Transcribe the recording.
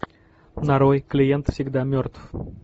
нарой клиент всегда мертв